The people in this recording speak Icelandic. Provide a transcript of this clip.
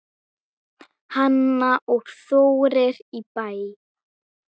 Hanna og Þórir í Bæ.